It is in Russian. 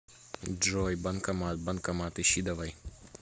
джой банкомат банкомат ищи давай